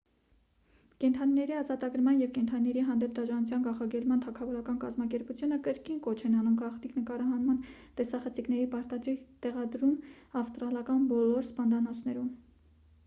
կենդանիների ազատագրման և կենդանիների հանդեպ դաժանության կանխարգելման թագավորական կազմակերպությունը կրկին կոչ են անում գաղտնի նկարահանման տեսախցիկների պարտադիր տեղադրում ավստրալական բոլոր սպանդանոցներում